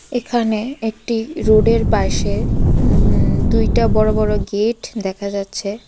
এখানে একটি রোডের পাশে উমম দুইটা বড়ো বড়ো গেট দেখা যাচ্ছে.